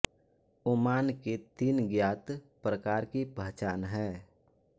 Oman के तीन ज्ञात प्रकार की पहचान है